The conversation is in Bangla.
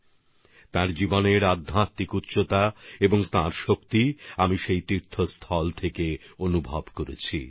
সন্ত রবিদাসজির জীবনের আধ্যাত্মিক উচ্চতা এবং তার প্রাণশক্তিকে আমি সেই তীর্থস্থানে উপলব্ধি করেছি